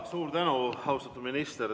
Suur tänu, austatud minister!